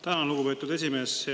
Tänan, lugupeetud esimees!